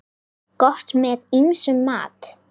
Gott með ýmsum mat.